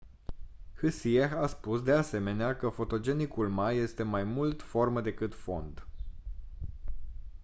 hsieh a spus de asemenea că fotogenicul ma este mai mult formă decât fond